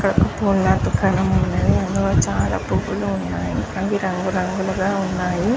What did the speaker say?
ఇక్కడ వక తను వక దుకాణము ఉనది.చాల పుల్లు అది ర్గు రాగులో ఉనది .